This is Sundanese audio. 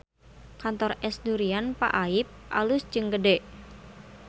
Kantor Es Durian Pak Aip alus jeung gede